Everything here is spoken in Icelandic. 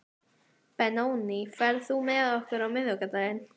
Benóný, ferð þú með okkur á miðvikudaginn?